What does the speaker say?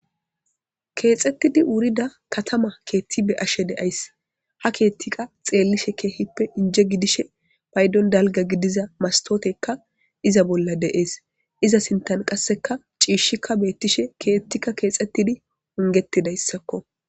Kethetidi wurida katama kethe beashe deayisi ha kethikka xeliishsheni kehippe inje gididayisa payidoni daliga gidida masitoteyikka iza bola desi iza dinthani qasekka cishikka betishe kethikka kethetishe